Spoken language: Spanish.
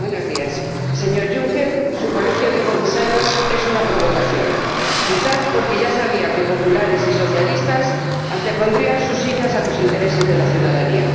Señor Presidente, señor Juncker, su Colegio de Comisarios es una provocación. Quizás porque ya sabía que populares y socialistas antepondrían su silla a los intereses de la ciudadanía.